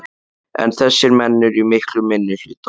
En þessir menn eru í miklum minnihluta.